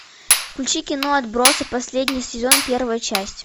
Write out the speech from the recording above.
включи кино отбросы последний сезон первая часть